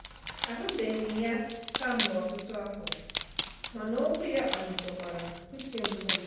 Ahụbemghị ya kemgbe ọtụtụ afọ, mana okwu ya kpanyitekwara uche mbụ m.